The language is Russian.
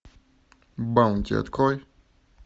баунти открой